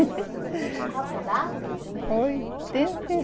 E qual que é a data do nascimento?